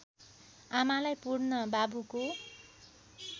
आमालाई पुर्न बाबुको